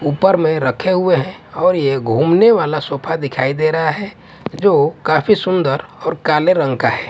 ऊपर में रखे हुए है और ये घूमने वाला सोफा दिखाई दे रहा है। जो काफी सुंदर और काले रंग का है।